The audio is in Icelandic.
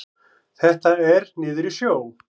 Þetta er niður í sjó.